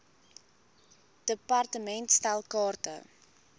department stel kaarte